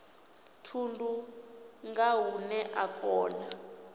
thundu nga hune a kona